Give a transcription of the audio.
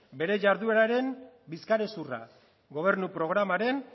bera jardueraren bizkarrezurra gobernu programaren